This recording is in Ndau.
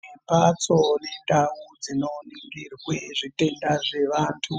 Kune mhatso nendau dzinoningirwe zvitenda zvevantu.